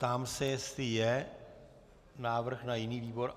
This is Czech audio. Ptám se, jestli je návrh na jiný výbor.